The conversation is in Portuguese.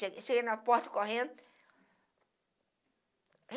Cheguei cheguei na porta correndo.